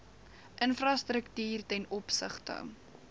infrastruktuur ten opsigte